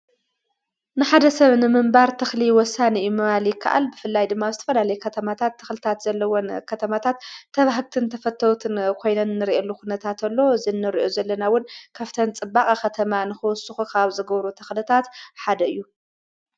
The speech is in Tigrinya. ንሓደ ሰብ ንምምባር ትኽሊ ወሳንእዩ መባሊ ከዓል ብፍላይ ድማስተፈድ ለይ ከተማታት ተኽልታት ዘለዎን ኸተማታት ተብሕግትን ተፈተዉትን ኾይነንርየሉ ዂነታእንተሎ ዘነርዑ ዘለናውን ካፍተን ጽባቕ ኸተማ ንኮወሱኹ ኻብ ዘገብሩ ተኽልታት ሓደ እዩ።